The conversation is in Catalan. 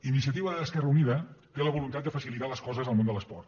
iniciativa esquerra unida té la voluntat de facilitar les coses al món de l’esport